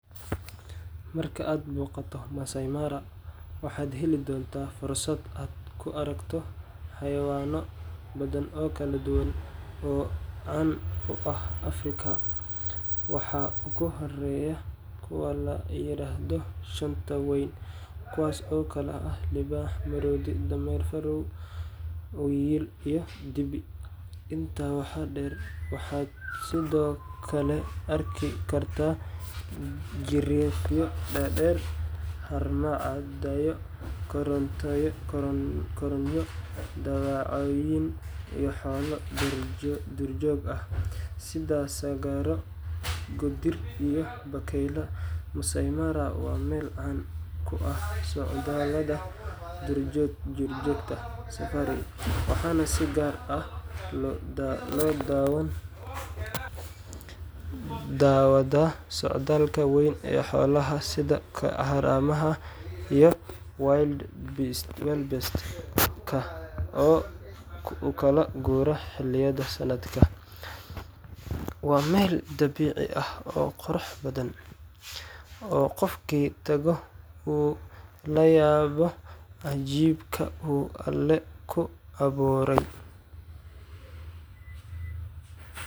Marka aad booqato Maasaai Mara, waxaad heli doontaa fursad aad ku aragto xayawaanno badan oo kala duwan oo caan ku ah Afrika. Waxaa ugu horeeya kuwa la yiraahdo shanta weyn, kuwaas oo kala ah libaax, maroodi, dameer-fardood, wiyil, iyo dibi. Intaa waxaa dheer, waxaad sidoo kale arki kartaa giriifyo dhaadheer, haramcadyo, goronyo, dawacooyin, iyo xoolo duurjoog ah sida sagaaro, goodir, iyo bakayleyaal. Maasaai Mara waa meel caan ku ah socdaallada duurjoogta safari, waxaana si gaar ah loo daawadaa socdaalka weyn ee xoolaha sida haramaha iyo wildebeest-ka oo u kala guura xilliyada sanadka. Waa meel dabiici ah oo qurux badan, oo qofkii tagaa uu la yaabo cajiibka uu Alle ku beeray.